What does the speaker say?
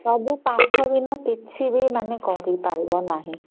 ସବୁ ପାଠ ବିନା କିଛି ବି ମାନେ କରି ପାରିବ ନାହିଁ